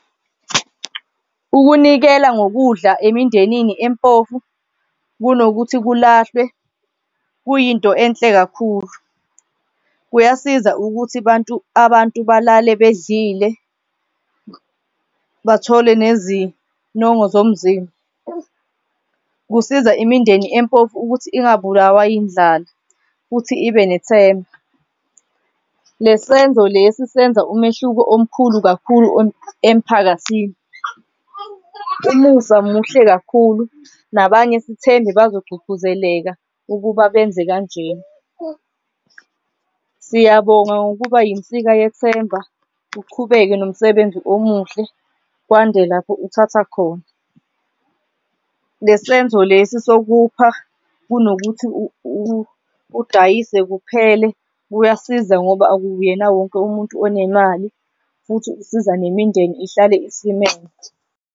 Ukunikela ngokudla emindenini empofu kunokuthi kulahlwe kuyinto enhle kakhulu. Kuyasiza ukuthi bantu abantu balale bedlile, bathole nezinongo zomzimba. Kusiza imindeni empofu ukuthi ungabulawa yindlala futhi ibe nethemba. Lesenzo lesi senza umehluko omkhulu kakhulu emphakathini. Umusa muhle kakhulu nabanye sithembe bazogqugquzeleka ukuba benze kanjena. Siyabonga, ngokuba yinsika yethemba, uqhubeke nomsebenzi omuhle kwande lapho uthatha khona. Le senzo lesi sokupha kunokuthi udayise kuphele kuyasiza ngoba akuyena wonke umuntu onemali futhi usiza nemindeni ihlale isimeme.